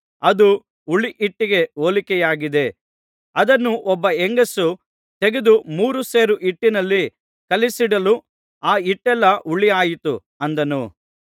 ಅದು ಹುಳಿಹಿಟ್ಟಿಗೆ ಹೋಲಿಕೆಯಾಗಿದೆ ಅದನ್ನು ಒಬ್ಬ ಹೆಂಗಸು ತೆಗೆದು ಮೂರು ಸೇರು ಹಿಟ್ಟಿನಲ್ಲಿ ಕಲಸಿಡಲು ಆ ಹಿಟ್ಟೆಲ್ಲಾ ಹುಳಿಯಾಯಿತು ಅಂದನು